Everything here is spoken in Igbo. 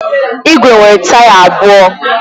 Igwe nwere taya abụọ.